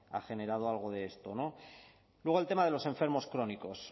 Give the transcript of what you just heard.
ha generado algo de esto luego el tema de los enfermos crónicos